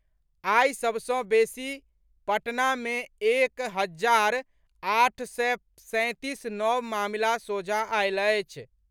आई सभ सँ बेसी पटना में एक हजार आठ सय सैंतीस नव मामिला सोझा आयल अछि।